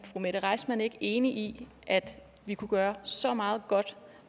mette reissmann ikke enig i at vi kunne gøre så meget godt